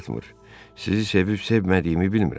Daha gücüm çatmır, sizi sevib-sevmədiyimi bilmirəm.